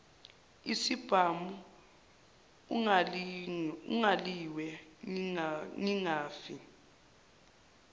isibhamu angilwe ngingafi